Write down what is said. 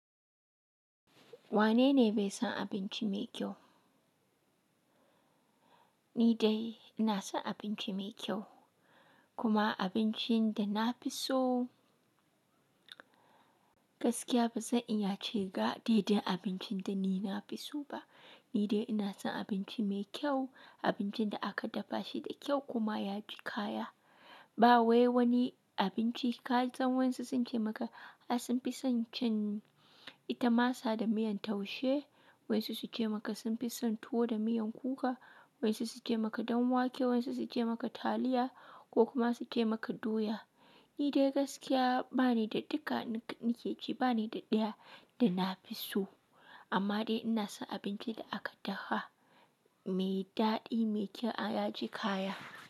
Wanene bai san abinci mai kyau? Ni dai ina son abinci mai kyau, kuma abincin da na fi so gaskiya ba zan iya ce ga daidai abincin da ni na fi so ba. Ni dai ina son abinci mai kyau, abincin da aka dafa shi da kyau kuma ya ji kaya. Ba wai wani abinci ka san wayansuu sun ce maka, "A sun fi son cin ita masa da miyan taushe", wasu su ce maka sun fi son tuwo da miyan kuka, wasu su ce maka dan wake, wasu su ce maka taliya ko kuma su ce maka doya. Ni dai gaskiya ba ni da duka nike ce ba ni da ɗaya da na fi so. Amma dai ina son abincin da aka dafa mai daɗi, mai kyau ya ji kaya.